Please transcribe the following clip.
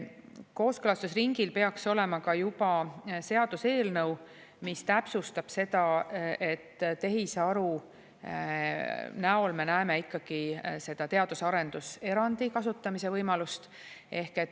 mis täpsustab seda, et tehisaru näol on meil ikkagi teadus‑ ja arendus erandi kasutamise võimalus.